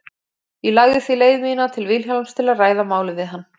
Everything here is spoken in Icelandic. Ég lagði því leið mína til Vilhjálms til að ræða málið við hann.